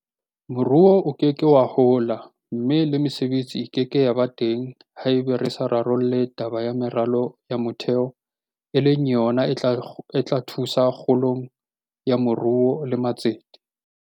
Moruo o ke ke wa hola mme le mesebetsi e ke ke ya ba teng haeba re sa rarolle taba ya meralo ya motheo e leng yona e tla thusa kgolong ya moruo le matsete.